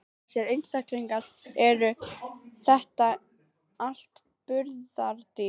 Þessir einstaklingar, eru þetta allt burðardýr?